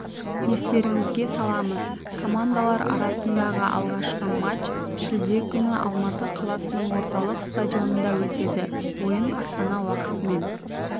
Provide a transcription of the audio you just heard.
естеріңізге саламыз командалар арасындағы алғашқы матч шілде күні алматы қаласының орталық стадионында өтеді ойын астана уақытымен